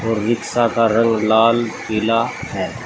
Rickshaw का रंग लाल पीला है।